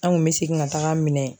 An kun bɛ segin ka tag'a minɛ